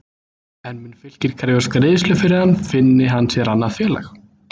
En mun Fylkir krefjast greiðslu fyrir hann finni hann sér annað félag?